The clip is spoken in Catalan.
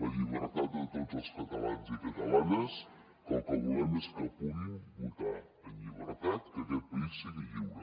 la llibertat de tots els catalans i catalanes que el que volem és que puguin votar en llibertat que aquest país sigui lliure